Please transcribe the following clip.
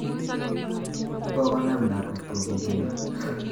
Kokonam lakwet kogungu'yot